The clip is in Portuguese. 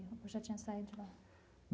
Ou já tinha saído de lá?